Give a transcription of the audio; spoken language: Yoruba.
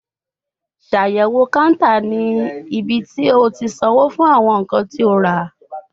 Ṣayẹwo counter ni ibiti o ti sanwo fun awọn nkan ti o ra